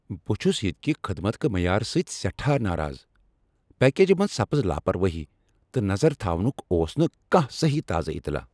بہٕ چھس ییٚتہ کہ خدمت کہ معیارٕ سۭتۍ سٮ۪ٹھاہ ناراض۔ پیکجہِ منز سپٕز لاپروٲہی ، تہٕ نظر تھاونُک اوس نہٕ كانہہ سہی تازٕ اطلاع ۔